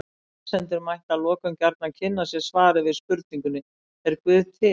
Lesendur mættu að lokum gjarnan kynna sér svarið við spurningunni Er guð til?